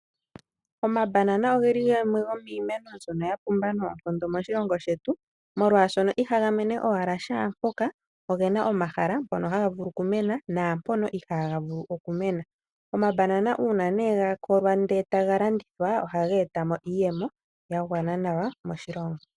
Omabanana ogeli gamwe gomiimeno mbyono ya pumba noonkondo moshilongo shetu omolwashono ihaga menene owala shampoka ogena omahala mpono haga vulu okumena naa mpono ihaga vulu okumena. Omabanana ne uuna gakolwa ndele taga landithwa ohaga eta mo iiyemo yagwana nawa moshilongo.